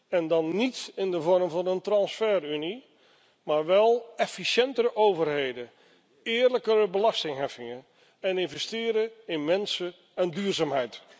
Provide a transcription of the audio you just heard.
En dan niet in de vorm van een transferunie, maar wel efficiëntere overheden, eerlijkere belastingheffingen en investeren in mensen en duurzaamheid.